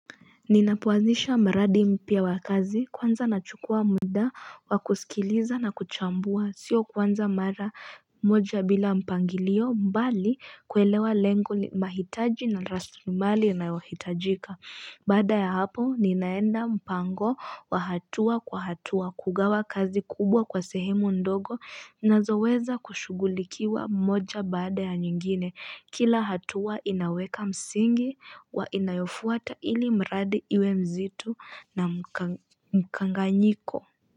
Ninapoazisha mradi mpya wa kazi kwanza nachukua muda wa kusikiliza na kuchambua Sio kuanza mara moja bila mpangilio bali kuelewa lengo mahitaji na rasilimali inayohitajika Baada ya hapo ninaenda mpango wa hatua kwa hatua kugawa kazi kubwa kwa sehemu ndogo zinazoweza kushugulikiwa moja baada ya nyingine Kila hatua inaweka msingi inayofuata ili mradi iwe mzito na mkanganyiko.